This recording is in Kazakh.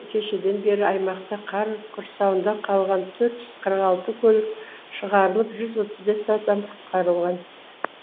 кешеден бері аймақта қар құрсауында қалған төрт жүз қырық алты көлік шығарылып жүз отыз бес адам құтқарылған